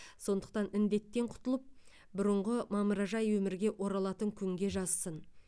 сондықтан індеттен құтылып бұрыңғы мамыражай өмірге оралатын күнге жазсын